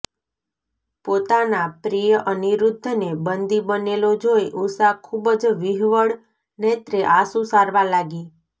પોતાના પ્રિય અનિરુદ્ધને બંદી બનેલો જોઈ ઉષા ખૂબ જ વિહ્વળ નેત્રે આંસુ સારવા લાગી